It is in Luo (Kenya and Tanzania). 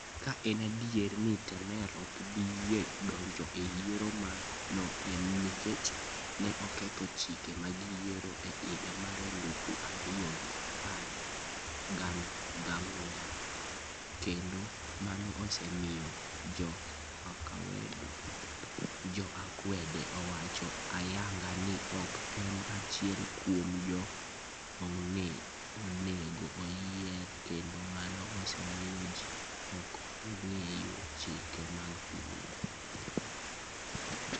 Ka en adier ni Temer ok bi yie donjo e yiero, mano en nikech ne oketho chike mag yiero e higa mar elufu ariyo gi apar gangwen', kendo mano osemiyo jo akwede owacho ayanga ni ok en achiel kuom joma onego oyier, kendo mano osemiyo ji ok ong'eyo chike mag pinyno.